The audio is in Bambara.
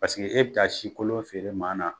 Paseke e bɛ taa si kolon feere maa na